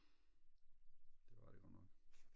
det var det godt nok